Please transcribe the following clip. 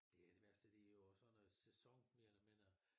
Det er det værste det jo og sådan noget sæson mere eller mindre